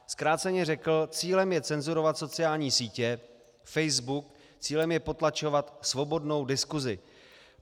Zkráceně řekl: Cílem je cenzurovat sociální sítě, Facebook, cílem je potlačovat svobodnou diskusi.